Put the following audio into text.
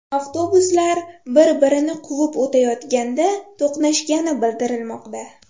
Avtobuslar bir-birini quvib o‘tayotganda to‘qnashgani bildirilmoqda.